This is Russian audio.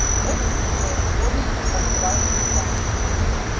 вот и всё сходится как дважды два